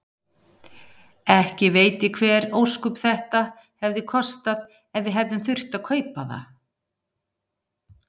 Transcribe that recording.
Ekki veit ég hver ósköp þetta hefði kostað ef við hefðum þurft að kaupa það.